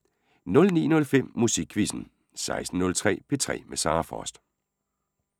09:05: Musikquizzen 16:03: P3 med Sara Frost